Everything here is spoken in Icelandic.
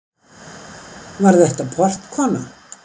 Var þetta. portkona?